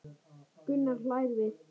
Gunnar hlær við.